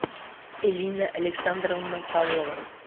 элина александровна павлова